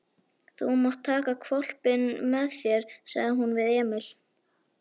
Þú mátt taka hvolpinn með þér, sagði hún við Emil.